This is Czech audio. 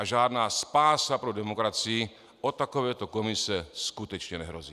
A žádná spása pro demokracii od takovéto komise skutečně nehrozí.